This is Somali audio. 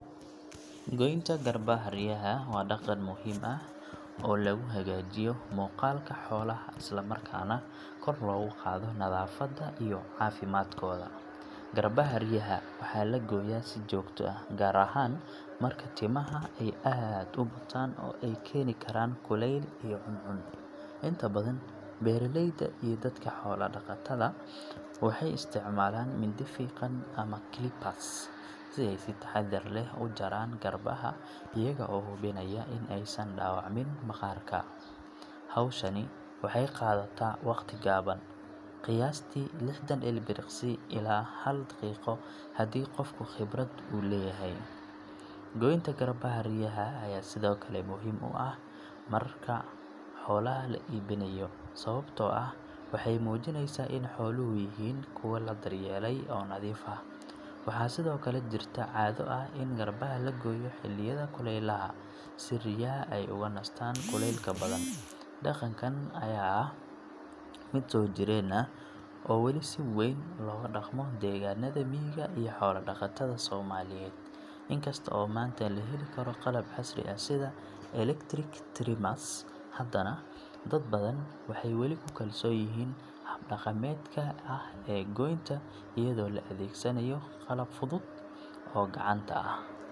Goynta garbaha riyaha waa hab muhiim ah oo lagu daryeelo caafimaadka iyo taranka xoolaha. Marka la gaaro xilliga goynta, waa in la diyaariyaa agabka lagama maarmaanka ah sida maqas, fargeeto, iyo biyo nadiif ah si looga hortago infekshan. Goynta waxaa la sameeyaa si looga hortago in riyaha ay yeeshaan culeys dheeraad ah ama ay ku adkaato socodka. Inta badan, garbaha waa la gooyaa hal mar sanadkii, waxaana lagu talinayaa in lagu sameeyo xilliyada qabow si aysan u kululeyn jirka riyaha. Waxaa muhiim ah in qofka goynaya uu lahaado xirfad iyo khibrad, haddii kale riyaha waa la dhaawici karaa. Marka la gooyo, garbaha waa in si fiican loo nadiifiyaa lana mariyaa daawo antiseptic ah si looga hortago caabuq. Haddii mid ka mid ah riyaha uu muujiyaa calaamado xanuun sida socod xumo ama dhiig bax, waa in si degdeg ah loola tacaalaa. Goyntu waxay sidoo kale ka qayb qaadataa ilaalinta nadaafadda xerada, iyadoo laga hortagayo urta iyo bakteeriyada ku dhalata timaha qoyan ama wasakhaysan. Waxaa lagu taliyay in ugu yaraan mar kasta oo goynta la sameeyo la hubiyo caafimaadka guud ee riyaha, sida miisaankooda, xaaladda indhahooda iyo socodkooda. Haddii aad leedahay in ka badan shan iyo toban ri’, waxaa habboon in aad isticmaasho record keeping system si aad u diiwaangeliso taariikhaha goynta iyo daaweynta. Daryeelka joogtada ah wuxuu kordhiyaa wax-soo-saarka caanaha iyo tayada hilibka. Marka la eego dhammaan faa'iidooyinkaasi, goynta garbaha riyaha waa hawl aan la iska indho tiri karin.